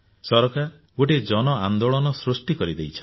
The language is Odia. ସରକାର ଗୋଟିଏ ଜନଆନ୍ଦୋଳନ ସୃଷ୍ଟି କରିଦେଇଛନ୍ତି